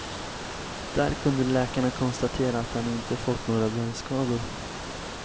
Där kunde läkarna konstatera att han inte fått några brännskador.